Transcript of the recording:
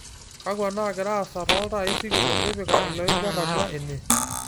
kainyio nagira aasa tooltaai sikitok tipika iloibor atua ene